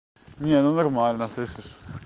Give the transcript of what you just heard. не ну нормально слышишь